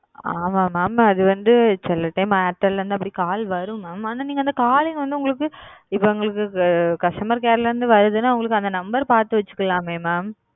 ஆமா mam சொல்லுங்க அப்படி call வரும் mam அப்டி வரும் நீங்க அந்த number பாத்து வச்சிக்கலாம் mam